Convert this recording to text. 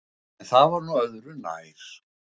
En það var nú öðru nær.